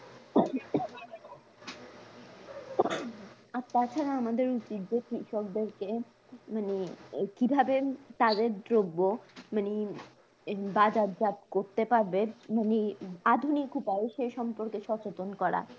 আর তাছাড়া আমাদের উচিত যে কৃষকদেরকে মানে এই, কিভাবে তাদের দ্রব্য মানে বাজারজাত করতে পারবে? মানে আধুনিক উপায়ে সে সম্পর্কে সচেতন করা